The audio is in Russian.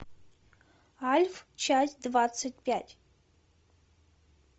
альф часть двадцать пять